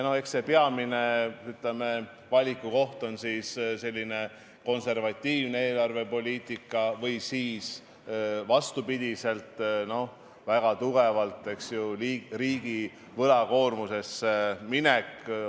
Eks see peamine, ütleme, valikukoht on see, kas konservatiivne eelarvepoliitika või siis, vastupidi, riigi väga tugev võlakoormusesse minek.